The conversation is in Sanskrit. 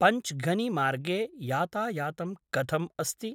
पञ्च्गानिमार्गे यातायातं कथम् अस्ति?